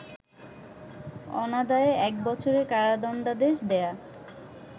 অনাদায়ে এক বছরের কারাদণ্ডাদেশ দেয়া